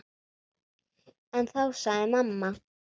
En þá sagði mamma